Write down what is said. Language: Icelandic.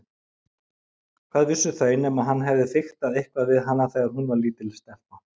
Hvað vissu þau nema hann hefði fiktað eitthvað við hana þegar hún var lítil stelpa.